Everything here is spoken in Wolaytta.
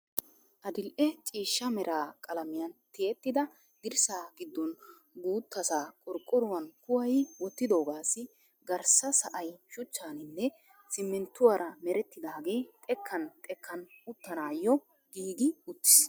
Adidhe ciishsha mera qalamiyan tiyettida dirssaa giddon guuttaassa qorqoruwan kuwayi wottidoogaassi garssa sa"ay shuchchaninne simmintruwaan merettidaagee xekkan xekkan uttanaayo giigi uttis.